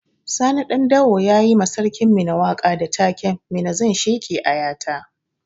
Sani Ɗandawo ya yi ma sarkin Minna waƙa da taken "Minna zan sheƙe aya ta"